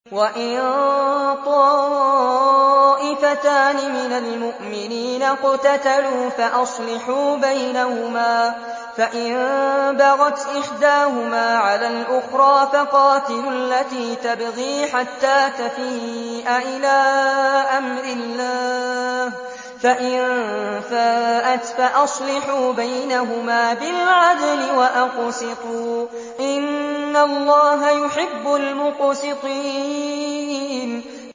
وَإِن طَائِفَتَانِ مِنَ الْمُؤْمِنِينَ اقْتَتَلُوا فَأَصْلِحُوا بَيْنَهُمَا ۖ فَإِن بَغَتْ إِحْدَاهُمَا عَلَى الْأُخْرَىٰ فَقَاتِلُوا الَّتِي تَبْغِي حَتَّىٰ تَفِيءَ إِلَىٰ أَمْرِ اللَّهِ ۚ فَإِن فَاءَتْ فَأَصْلِحُوا بَيْنَهُمَا بِالْعَدْلِ وَأَقْسِطُوا ۖ إِنَّ اللَّهَ يُحِبُّ الْمُقْسِطِينَ